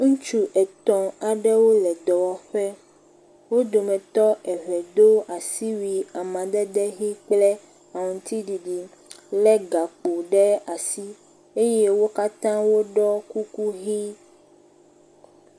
Ŋutsu etɔ̃ aɖewo le dɔwɔƒe. Wo dometɔ etɔ̃ do asiwui amadede ʋi kple aŋtsiɖiɖi le gakpo ɖe asi eye wo katã woɖɔ kuku ʋi.